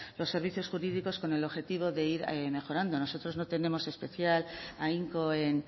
los servicios jurídicos con el objetivo de ir mejorando nosotros no tenemos especial ahínco en